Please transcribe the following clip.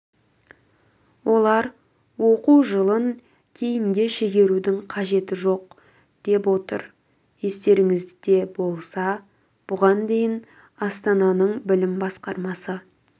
олар оқу жылын кейінге шегерудің қажеті жоқ деп отыр естеріңізде болса бұған дейін астананың білім басқармасы